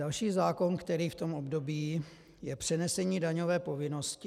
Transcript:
Další zákon, který v tom období... je přenesení daňové povinnosti.